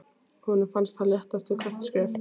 Honum fannst hann léttast við hvert skref.